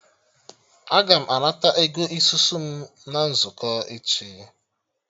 Aga m anata Ego isusu m na nzukọ echi